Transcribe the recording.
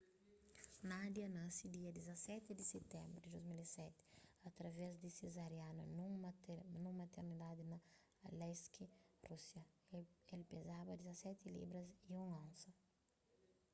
nadia nasi dia 17 di sitenbru di 2007 através di sezeriana nun maternidadi na aleisk rúsia el pezaba 17 libras 1 onsa